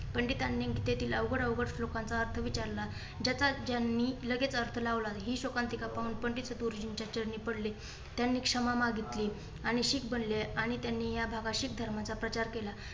पंडितांनी गीतेतील अवघड अवघड श्लोकांचा अर्थ विचारला. ज्याचा त्यांनी लगेच अर्थ लावला. ही शोकांतिका पाहून पंडित गुरुजींच्या चरणी पडले. त्यांनी क्षमा मागितली आणि शिख बनले आणि त्यांनी ह्या भागात शीख धर्माचा प्रचार केला.